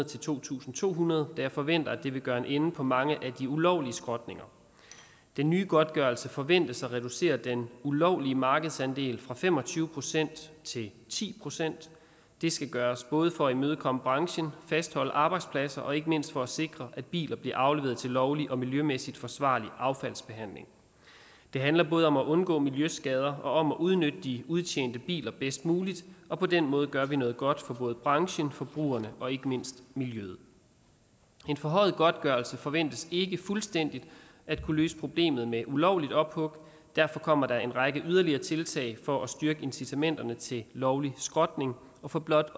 til to tusind to hundrede da jeg forventer at det vil gøre en ende på mange af de ulovlige skrotninger den nye godtgørelse forventes at reducere den ulovlige markedsandel fra fem og tyve procent til ti procent det skal gøres både for at imødekomme branchen fastholde arbejdspladser og ikke mindst for at sikre at biler bliver afleveret til lovlig og miljømæssigt forsvarlig affaldsbehandling det handler både om at undgå miljøskader og om at udnytte de udtjente biler bedst muligt og på den måde gør vi noget godt for både branchen forbrugerne og ikke mindst miljøet en forhøjet godtgørelse forventes ikke fuldstændig at kunne løse problemet med ulovligt ophug derfor kommer der en række yderligere tiltag for at styrke incitamenterne til lovlig skrotning og for blot